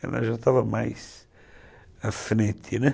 Ela já estava mais à frente, né?